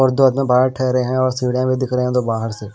बारात ठहरें हैं और सीढ़ियां में दिख रहे है दो बाहर से--